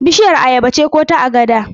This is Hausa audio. Bishiyar ayaba ce ko ta agada?